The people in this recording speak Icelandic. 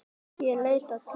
Ég leit til mömmu.